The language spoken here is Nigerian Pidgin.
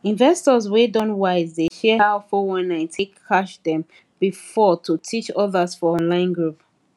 investors wey don wise dey share how 419 take catch dem before to teach others for online group